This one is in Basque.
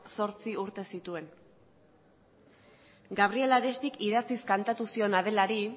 zortzi urte zituen gabriel aristik idatziz kantatu zion adelari